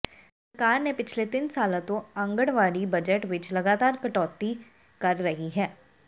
ਸਰਕਾਰ ਨੇ ਪਿਛਲੇ ਤਿੰਨ ਸਾਲਾਂ ਤੋਂ ਆਂਗਣਵਾੜੀ ਬਜਟ ਵਿਚ ਲਗਾਤਾਰ ਕਟੌਤੀ ਕਰ ਰਹੀ ਹੈ